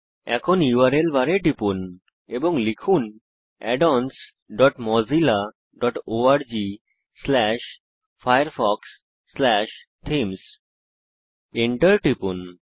এখন ইউআরএল বারে টিপুন এবং লিখুন addonsmozillaorgfirefoxথিমস Enter টিপুন